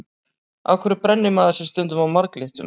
Af hverju brennir maður sig stundum á marglyttum?